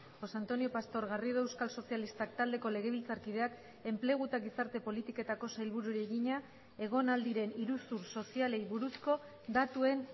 josé antonio pastor garrido euskal sozialistak taldeko legebiltzarkideak enplegu eta gizarte politiketako sailburuari egina egon ahal diren iruzur sozialei buruzko datuen